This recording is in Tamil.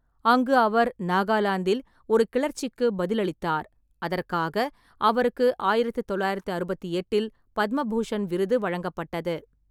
அங்கு அவர் நாகாலாந்தில் ஒரு கிளர்ச்சிக்கு பதிலளித்தார், அதற்காக அவருக்கு ஆயிரத்து தொள்ளாயிரத்து அறுபத்தி எட்டில் பத்ம பூஷண் விருது வழங்கப்பட்டது.